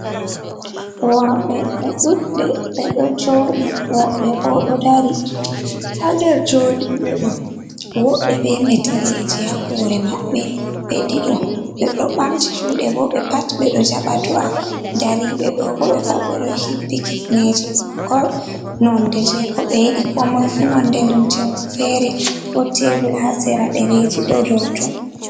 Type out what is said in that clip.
Worɓe ɓe ɗudɓe ɓe ɗo joɗi, woɓɓe bo ɗo dari ha nder joɗiɓeɗo wobɓe be meteleji ha hore mabɓe, ɓe ɗiɗo ɓe ɗo ɓamti juɗe bo ɓe pat ɓe ɗo jaba do’a, dariɓeɗo bo, ɓe pat ɓe ɗo hippi kifneje kof nonde je ko ɓe yiɗi, komoifu nonde lumcemum fere, wot tebul ha sera ɗereji ɗo dou ton.